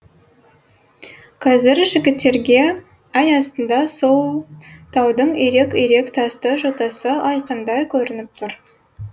қазір жігіттерге ай астында сол таудың ирек ирек тасты жотасы айқындай көрініп тұр